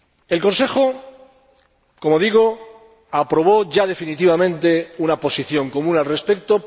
El Consejo, como digo, aprobó ya definitivamente una posición común al respecto.